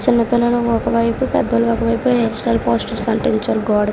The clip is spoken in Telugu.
చిన్నపిల్లలు ఒకవైపు పెద్దోళ్ళు ఒకవైపు హెయిర్ స్టైల్ ఫోటోలు అంటించారు గోడకి.